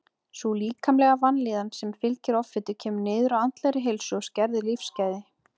Sú líkamlega vanlíðan sem fylgir offitu kemur niður á andlegri heilsu og skerðir lífsgæði.